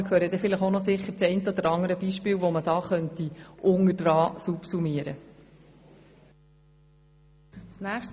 Wir hören dann sicher noch das eine oder andere Beispiel, das hier subsummiert werden könnte.